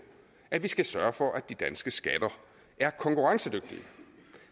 at vi skal sørge for at de danske skatter er konkurrencedygtige